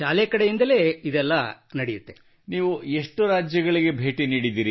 ನಾನು ಕೇವಲ ಕೇರಳ ಮತ್ತು ತಮಿಳುನಾಡು ರಾಜ್ಯಗಳಿಗೆ ಭೇಟಿ ನೀಡಿದ್ದೇನೆ I have visited only Kerala and Tamil Nadu